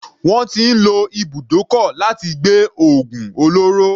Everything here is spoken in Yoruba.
Wọ́n ti ń lo ibùdókọ̀ láti gbé ògùn olóró.